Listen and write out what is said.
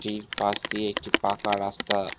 এটির পাশ দিয়ে একটি পাকা রাস্তা--